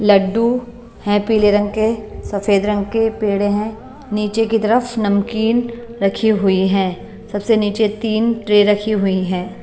लड्डू हैं पीले रंग के सफेद रंग के पेड़े हैं नीचे की तरफ नमकीन रखी हुई है सबसे नीचे तीन ट्रे रखी हुई हैं।